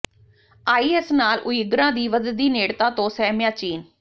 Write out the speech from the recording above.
IS ਨਾਲ ਉਈਗਰਾਂ ਦੀ ਵਧਦੀ ਨੇੜਤਾ ਤੋਂ ਸਹਿਮਿਆ ਚੀਨ